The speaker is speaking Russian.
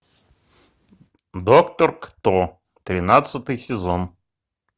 доктор кто тринадцатый сезон